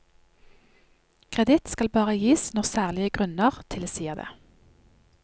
Kreditt skal bare gis når særlige grunner tilsier det.